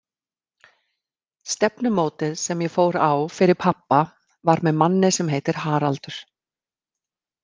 Stefnumótið sem ég fór á fyrir pabba var með manni sem heitir Haraldur.